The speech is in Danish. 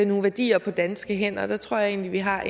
nogle værdier på danske hænder og der tror jeg egentlig vi har